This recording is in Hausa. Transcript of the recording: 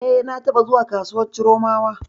E, na taɓa zuwa kasuwar Chiromawa.